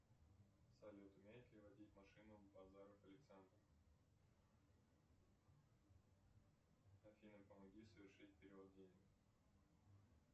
салют умеет ли водить машину базаров александр афина помоги совершить перевод денег